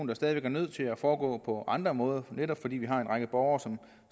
der stadig væk er nødt til at foregå på andre måder netop fordi vi har en række borgere som